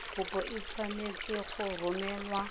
kopo e tshwanetse go romelwa